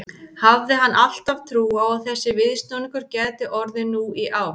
Hafði hann alltaf trú á að þessi viðsnúningur gæti orðið nú í ár?